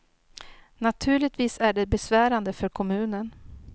Naturligtvis är det besvärande för kommunen.